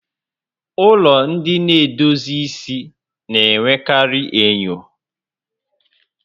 Ụlọ ndị na-edozi isi na-enwekarị enyo